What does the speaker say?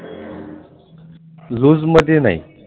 Loose मध्ये नाही.